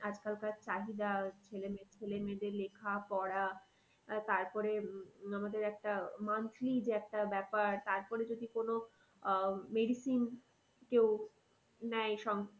আজকালকার চাহিদা ছেলে মেয়ে, ছেলে মেয়েদের লেখা পড়া আহ তারপরে আমাদের একটা monthly যে একটা ব্যাপার তারপরে যদি কোনো আহ medicine কেউ নেয়